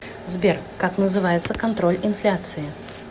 сбер как называется контроль инфляции